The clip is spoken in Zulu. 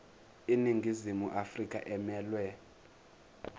iningizimu afrika emelwe